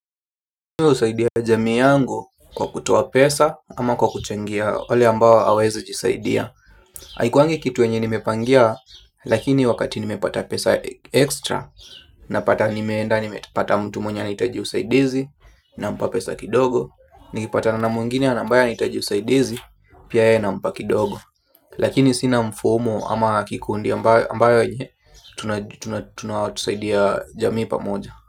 Husaidia jamii yangu kwa kutoa pesa ama kwa kuchangia wale ambao hawawezi jisaidia. Haikuangi kitu yenye nimepangia lakini wakati nimepata pesa extra napata nimeenda nimepata mtu mwenye anahitaji usaidizi nampa pesa kidogo. Nikipatana mwingine na ambaye anahitaji usaidizi pia yeye nampa kidogo. Lakini sina mfumo ama kikundi ambayo yenye tunasaidia jamii pamoja.